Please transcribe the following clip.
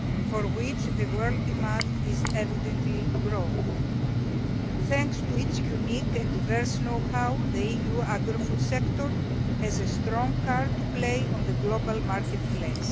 for which world demand is evidently growing. Thanks to its unique and diverse know how, the EU agri food sector has a strong card to play on the global marketplace.